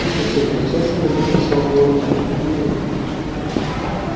ещё четверть часа мы будем своб эге-гей